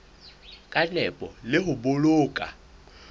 ka nepo le ho boloka